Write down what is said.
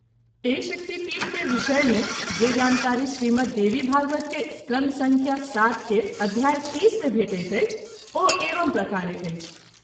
एहि शक्तिपीठ के विषय मे जे जानकारी श्रीमद्देवीभागवत के स्कंध संख्या-७ के अध्याय- ३० में भेटैत अछि ओ एवं प्रकारे अछि।